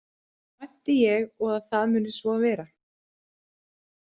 Vænti ég og að það muni svo vera.